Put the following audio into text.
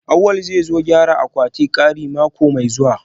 Awal zai zo gyara akwatin kari mako mai zuwa